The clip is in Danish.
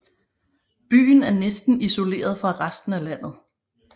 Byen er næsten isoleret fra resten af landet